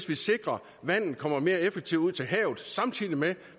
vi sikrer at vandet kommer mere effektivt ud til havet samtidig med at